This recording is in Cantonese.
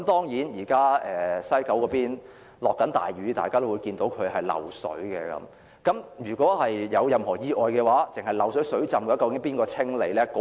現時西九龍正下大雨，大家都看到車站漏水，如果有任何意外，單是漏水、水浸，究竟由誰清理？